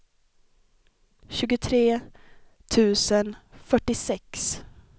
tjugotre tusen fyrtiosex